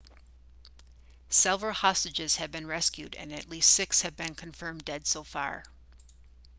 several hostages have been rescued and least six have been confirmed dead so far